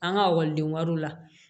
An ka ekɔliden wariw la